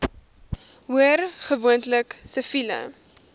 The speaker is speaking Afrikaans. hoor gewoonlik siviele